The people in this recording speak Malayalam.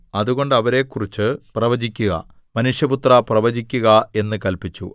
അതുകൊണ്ട് അവരെക്കുറിച്ചു പ്രവചിക്കുക മനുഷ്യപുത്രാ പ്രവചിക്കുക എന്ന് കല്പിച്ചു